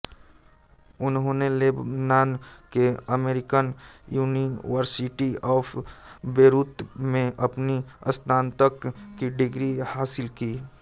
उन्होंने लेबनान के American university of Beirut में अपनी स्नातक की डिग्री हासिल की